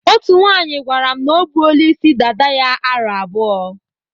Otú nwaanyị gwara m na o buola isi dada ya aro abụọ.